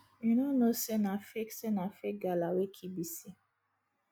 you no know say na fake say na fake gala wey kill bisi